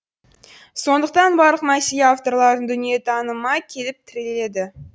сондықтан барлық мәселе авторлардың дүниетаныма келіп тіреледі